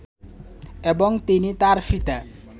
এবং তিনি তার পিতা